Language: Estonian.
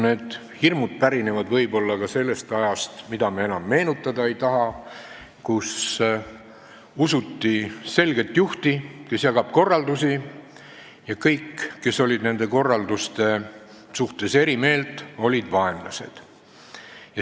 Need hirmud pärinevad võib-olla ka sellest ajast, mida me enam meenutada ei taha, kui usuti selget juhti, kes jagab korraldusi, ja kõik, kes olid nende korralduste suhtes eri meelt, olid vaenlased.